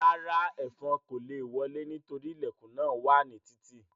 Rárá, ẹ́fọn kò le wọlé nítorí ilẹ̀kùn náà wà ní títì